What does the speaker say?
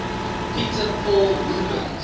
peter paul rubens